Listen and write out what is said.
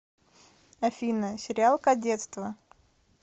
афина сериал кадетство